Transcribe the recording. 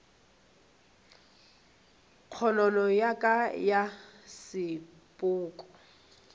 kgonono ya ka ya sepoko